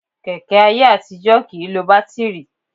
Kẹ̀kẹ́ ayé àtijọ́ kì í lo bátíìrì